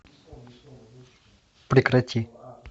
прекрати